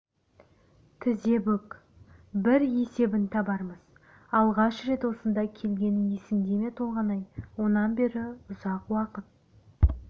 тізе бүк бір есебін табармыз алғаш рет осында келгенің есіңде ме толғанай онан бері ұзақ уақыт